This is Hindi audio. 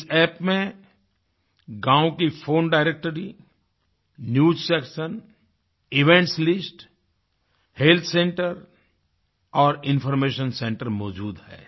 इस App में गाँव की phone directory news section events list health centre और इन्फॉर्मेशन सेंटर मौजूद है